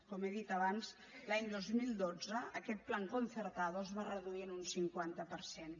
com he dit abans l’any dos mil dotze aquest plan concertado es va reduir en un cinquanta per cent